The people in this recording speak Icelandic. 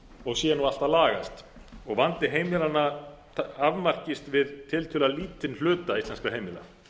og sé nú allt að lagast og vandi heimilanna afmarkist við tiltölulega lítinn hluta íslenskra heimila